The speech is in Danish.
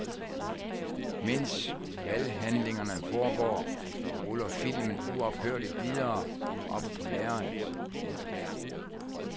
Mens valghandlingerne foregår ruller filmen uophørligt videre oppe på lærredet.